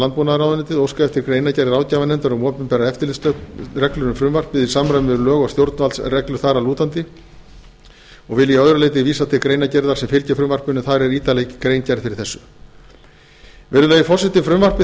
landbúnaðarráðuneytið óskað eftir greinargerð ráðgjafarnefndar um opinberar eftirlitsreglur um frumvarpið í samræmi við lög og stjórnvaldsreglur þar að lútandi ég vil að öðru leyti vísa til greinargerðar þeirrar er fylgir frumvarpinu en þar er ítarlega gerð grein fyrir efni þess virðulegi forseti frumvarpi